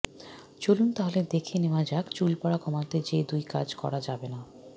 চলুন তাহলে দেখে নেওয়া যাক চুল পরা কমাতে যেই দুই কাজ করা যাবে না